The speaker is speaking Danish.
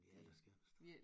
Det er da skønt